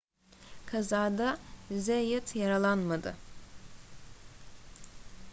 kazada zayat yaralanmadı